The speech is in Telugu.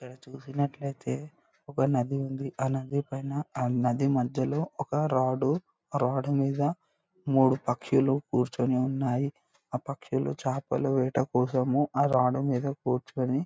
ఇక్కడ చూసినట్లయితే ఒక నది ఉంది. ఆ నది పైన నది మధ్యలో ఒక రాడ్ రాడ్డు మీద మూడు పక్షులు కూర్చుని ఉన్నాయి.ఆ పక్షులు చేపలు వేట కోసము ఆ రాడ్డు మీద కూర్చొని--